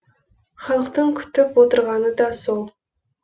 халықтың күтіп отырғаны да сол